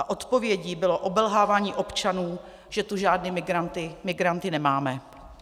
A odpovědí bylo obelhávání občanů, že tu žádné migranty nemáme.